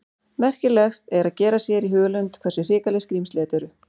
Merkilegt er að gera sér í hugarlund hversu hrikaleg skrímsli þetta eru.